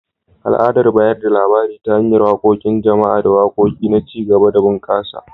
Al’adar bayar da labari ta hanyar waƙoƙin jama’a da waƙoƙi na ci gaba da bunƙasa.